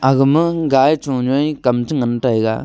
aga ma gai chon nyai kam chu ngan taiga.